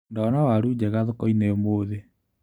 Ndona waru njega thokoinĩ ũmũthĩ.